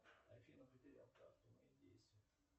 афина потерял карту мои действия